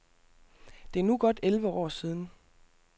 Det er nu godt elleve år siden.